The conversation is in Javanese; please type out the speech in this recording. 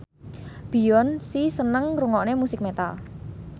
Beyonce seneng ngrungokne musik metal